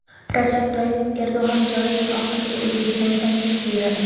Rajab Toyyib Erdo‘g‘an joriy yil oxirigacha O‘zbekistonga tashrif buyuradi.